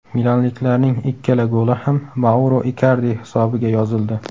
Milanliklarning ikkala goli ham Mauro Ikardi hisobiga yozildi.